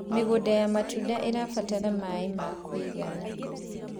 mĩgũnda ya matunda irabatara maĩ ma kũigana